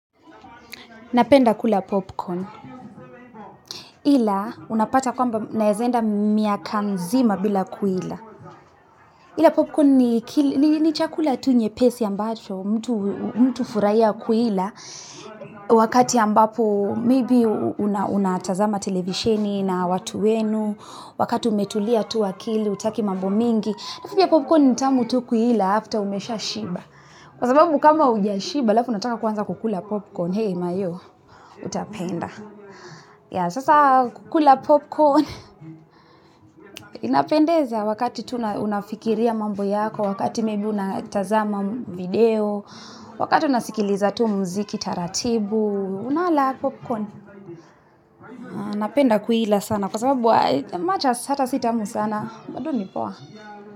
Napenda kula popcorn. Ila unapata kwamba naweza kwenda mwaka mzima bila kuila. Ila popcorn ni chakula tu nyepesi ambacho mtu hufurahia kuila. Wakati ambapo maybe unatazama televisheni na watu wenu, wakati umetulia tu akili, hutaki mambo mingi. Illa popcorn nitamu tu kuila after umeshashiba. Kwasababu kama hujashiba, alafu unataka kuwanza kukula popcorn, hei maio, utapenda. Yeah sasa kukula popcorn, inapendeza wakati tu unafikiria mambo yako, wakati maybe una tazama video, wakati unasikiliza tu mziki taratibu, unala popcorn. Napenda kuila sana kwasababu much as ata sitamu sana, bado nipoa.